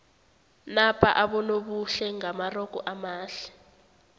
napa abonobuhle ngamarogo amade